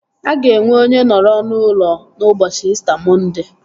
Aga enwe onye nọrọ n'ụlọ n'ụbọchị İsita Mọnde